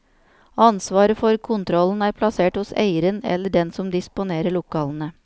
Ansvaret for kontrollen er plassert hos eieren eller den som disponerer lokalene.